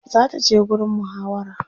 zata je gurin muhawara